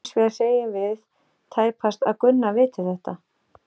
Hins vegar segjum við tæpast að Gunna viti þetta.